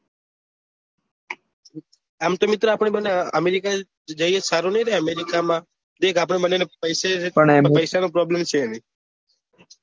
આમ તો મિત્ર આપડે બંને અમેરિકા સારું નઈ રે અમેરિકા માં દેખ આપડે બંને ને પૈસા નો problem છે નહિ